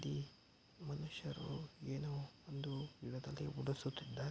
ಇಲ್ಲಿ ಮನುಷ್ಯರು ಏನೋ ಒಂದು ನೆಲದಲ್ಲಿ ಉಡಿಸುತ್ತಿದ್ದಾರೆ.